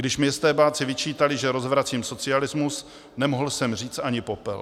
Když mi estébáci vyčítali, že rozvracím socialismus, nemohl jsem říct ani popel.